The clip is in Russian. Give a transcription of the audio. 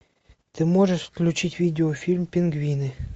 ты можешь включить видеофильм пингвины